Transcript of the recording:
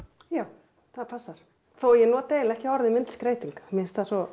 já það passar þó ég noti eiginlega ekki orðið myndskreyting mér finnst það svo